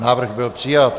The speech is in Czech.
Návrh byl přijat.